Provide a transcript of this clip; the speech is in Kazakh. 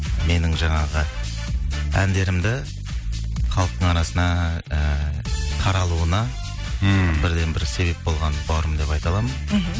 менің жаңағы әндерімді халықтың арасына ыыы қаралуына мхм бірден бір себеп болған бауырым деп айта аламын мхм